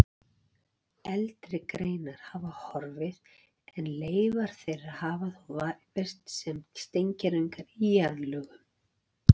Eldri greinar hafa horfið en leifar þeirra hafa þó varðveist sem steingervingar í jarðlögum.